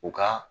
U ka